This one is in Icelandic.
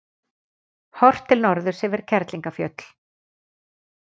Horft til norðurs yfir Kerlingarfjöll.